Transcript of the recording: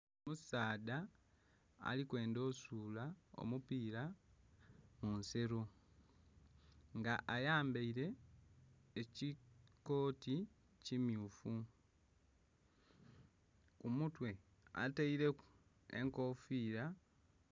Omusaadha ali kwendha osuula omupira munsero nga ayambaire ekikoti kimyufu, ku mutwe ataireku enkofira.